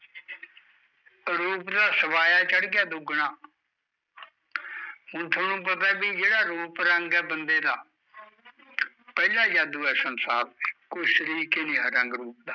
ਰੂਪ ਦਾ ਸਵਾਇਆ ਚੜ ਗਿਆ ਦੁੱਗਣਾ ਹੁਣ ਥੋਨੁ ਪਤਾ ਵੀ ਜਿਹੜਾ ਰੂਪ ਰੰਗ ਐ ਬੰਦੇ ਦਾ ਪਹਿਲਾਂ ਜਾਦੂ ਐ ਸੰਸਾਰ ਦਾ, ਕੋਈ ਸਰੀਕ ਈ ਨੀ ਰਿਹਾ ਰੰਗ ਰੂਪ ਦਾ